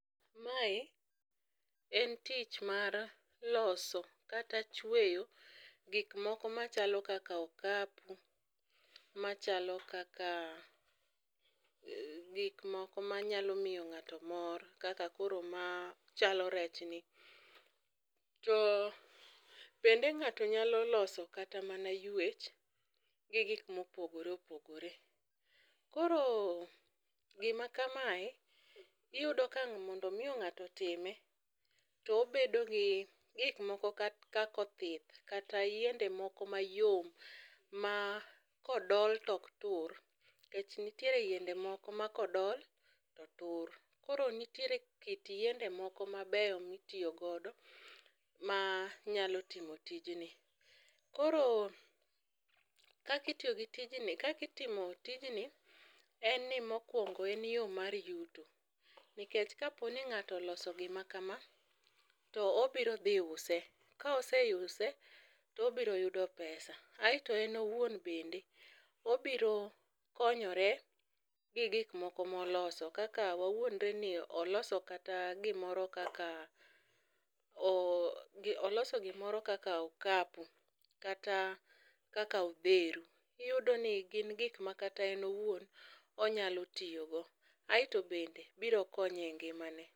Mae en tich mar loso kata chweyo gik moko machalo kaka okapu, machalo kaka gik moko manyalo miyo ng'ato mor kaka koro machalo rech ni. To bende ng'ato nyalo loso kata mana ywech gi gik mopogore opogore. Koro gima kamae iyudo ka mondo mio ng'ato otime to obedo gi gik moko ka kako othith kata yiende moko mayom ma kodol tok tur nikech ntiere yiende moko ma kodol to tur. Koro nitiere kit yiende moko mabeyo mitiyo godo manyalo timo tijni. Koro kakitiyo gi tijni kakitimo tijni en ni mokwongo en yoo mar yuto nikech kapo ni ng'ato loso gima kama to obiro dhi use. Ka oseuse to obiro yudo pesa aeto en owuon bende obiro konyore gi gik moko moloso kaka wawuondre ni oloso kata gimoro kaka gi oloso gimoro kaka okapu kata kaka odheru. Iyudo ni gin gik makata en owuon onyalo tiyo go aeto bende biro konye e ngimane.